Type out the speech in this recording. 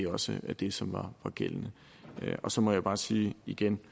også var det som var gældende så må jeg bare sige igen